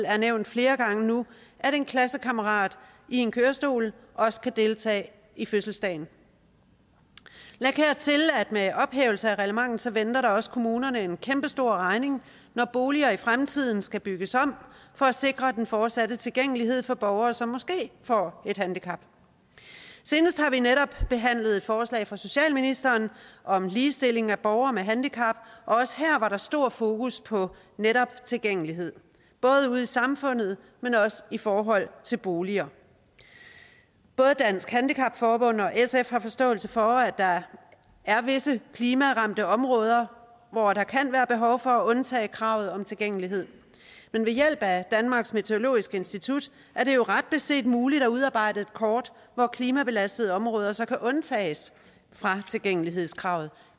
er nævnt flere gange nu kan en klassekammerat i en kørestol også deltage i fødselsdagen læg hertil at med ophævelse af reglementet venter der også kommunerne en kæmpe stor regning når boliger i fremtiden skal bygges om for at sikre den fortsatte tilgængelighed for borgere som måske får et handicap senest har vi netop behandlet et forslag fra socialministeren om ligestilling af borgere med handicap og også her var der stor fokus på netop tilgængelighed både ude i samfundet men også i forhold til boliger både dansk handicap forbund og sf har forståelse for at der er visse klimaramte områder hvor der kan være behov for at undtage kravet om tilgængelighed men ved hjælp af danmarks meteorologiske institut er det jo ret beset muligt at udarbejde et kort hvor klimabelastede områder så kan undtages fra tilgængelighedskravet